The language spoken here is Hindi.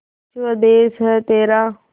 स्वदेस है तेरा